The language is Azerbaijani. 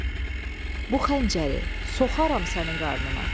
Gülpəri, bu xəncəri soxaram sənin qarnına.